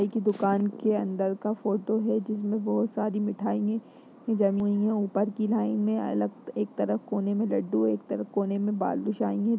एक दुकान के अंदर का फोटो हे जिसमें बहोत सारी मिठाइयें जमी है ऊपर की लाईन में अलग एक तरफ कोने में लड्डू है एक तरफ कोने में बालूशाहीं हैं।